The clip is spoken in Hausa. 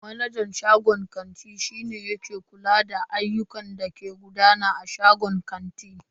Manajan shagon kanti shi ne ke kula da ayyukan da ke gudana a shagon kanti.